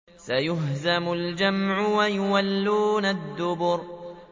سَيُهْزَمُ الْجَمْعُ وَيُوَلُّونَ الدُّبُرَ